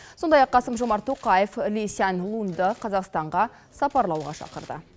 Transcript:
сондай ақ қасым жомарт тоқаев ли сянь лунды қазақстанға сапарлауға шақырды